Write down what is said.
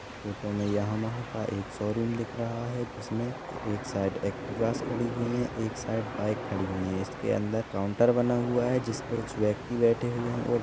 photo मे Yamaha का एक शोरूम दिख रहा है जिसमें एक साइड ऍक्टिवा खड़ी हुई है एक साइड बाइक खड़ी हुई है इसके अंदर काउंटर बना हुआ है जिस पे कुछ व्यक्ति बैठे हुए है और--